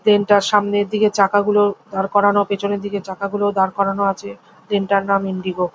Plane -টার সামনের দিকে চাকা গুলো দাঁড় করানো পিছনের দিকে চাকা গুলো দাঁড় করানো আছে। প্লেন টার নাম ইন্ডিগো ।